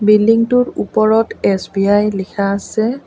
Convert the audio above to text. Building টোৰ ওপৰত SBI লিখা আছে।